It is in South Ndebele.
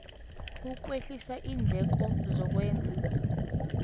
ukwehlisa iindleko zokwenza